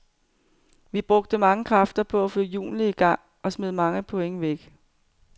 Vi brugte mange kræfter på at få hjulene i gang og smed mange point væk.